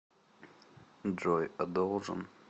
джой а должен